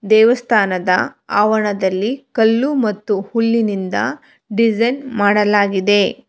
ದೇವಸ್ಥಾನದ ಆವರಣದಲ್ಲಿ ಕಲ್ಲು ಮತ್ತು ಹುಲ್ಲಿನಿಂದ ಡೈಸೈನ್ ಮಾಡಲಾಗಿದೆ.